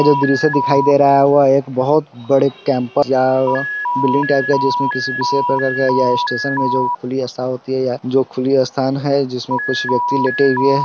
ये जो दृश्य दिखाई दे रहा है एक बहुत बड़े कैंपर बिल्डिंग टाइप का है जिसमे खुली स्थान है जिसमे कुछ व्यक्ति लेटे हुए--